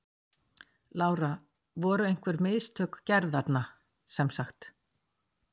Lára: Voru einhver mistök gerð þarna sem sagt?